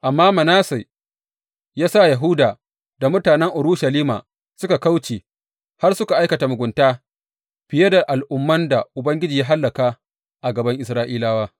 Amma Manasse ya sa Yahuda da mutanen Urushalima suka kauce, har suka aikata mugunta fiye da al’umman da Ubangiji ya hallaka a gaban Isra’ilawa.